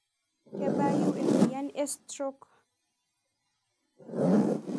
Kebayu emoyian e stroke?